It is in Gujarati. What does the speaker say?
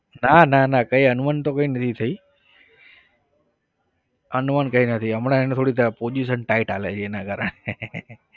ના ના ના કઈ અનબન તો કઈ નથી થઇ. અનબન કઈ નથી હમણાં એની થોડી position tight ચાલે છે એના કારણે